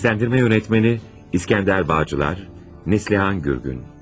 Səsləndirmə rejissoru: İsgəndər Bağcılar, Neslihan Gürgün.